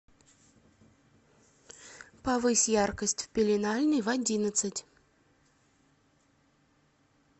повысь яркость в пеленальной в одиннадцать